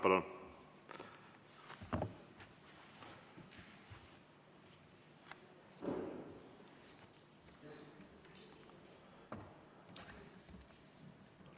Palun!